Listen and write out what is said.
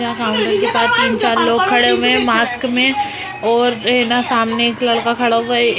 यहाँ काउंटर के पास तीन चार लोग खड़े हुए मास्क में और इना सामने एक लड़का खड़ा हुआ है।